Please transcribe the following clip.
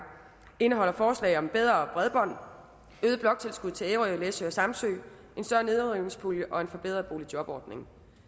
indeholder forslag om bedre bredbånd øget bloktilskud til ærø læsø og samsø en større nedrivningspulje og en forbedret boligjobordning